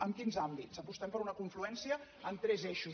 en quins àmbits apostem per una confluència en tres eixos